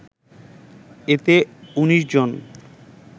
এতে ১৯ জন